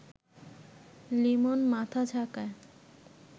লিমন মাথা ঝাঁকায়